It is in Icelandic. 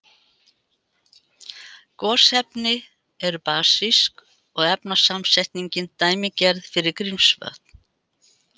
Gosefni eru basísk og efnasamsetningin dæmigerð fyrir Grímsvötn.